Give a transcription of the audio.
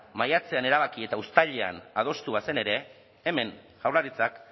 maiatzean erabaki eta uztailean adostu bazen ere hemen jaurlaritzak